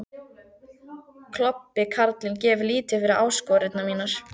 Klobbi karlinn gefur lítið fyrir áskoranir mínar.